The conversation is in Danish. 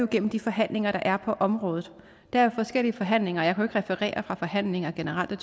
gennem de forhandlinger der er på området der er forskellige forhandlinger og jeg kan referere fra forhandlinger generelt og